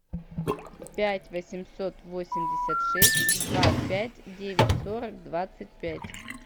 пять восемьсот восемьдесят шесть два пять девять сорок двадцать пять